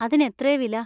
അതിനെത്രേ വില?